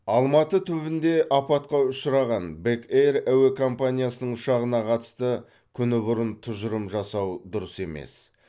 алматы түбінде апатқа ұшыраған бек эйр әуе компаниясының ұшағына қатысты күні бұрын тұжырым жасау дұрыс емес